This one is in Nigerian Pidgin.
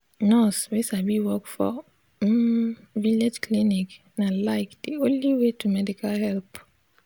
nurse wey sabi work for um village clinic na like de only way to medical help.